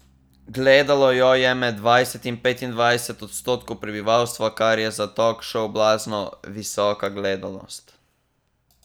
Gledalo jo je med dvajset in petindvajset odstotkov prebivalstva, kar je za tokšov blazno visoka gledanost.